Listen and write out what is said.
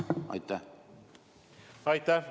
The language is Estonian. Aitäh!